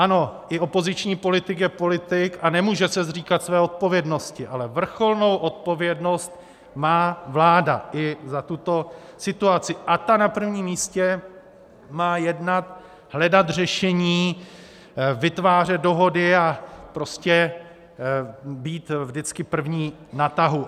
Ano, i opoziční politik je politik a nemůže se zříkat své odpovědnosti, ale vrcholnou odpovědnost má vláda i za tuto situaci, a ta na prvním místě má jednat, hledat řešení, vytvářet dohody a prostě být vždycky první na tahu.